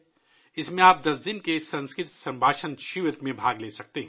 اس میں آپ 10 دن کے 'سنسکرت گفتگو کیمپ' میں حصہ لے سکتے ہیں